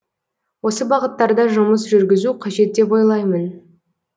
осы бағыттарда жұмыс жүргізу қажет деп ойлаймын